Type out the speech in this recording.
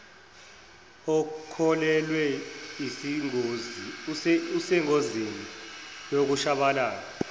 okhulelwe isengozini yokushabalala